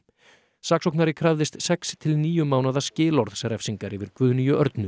saksóknari krafðist sex til níu mánaða skilorðsrefsingar yfir Guðnýju Örnu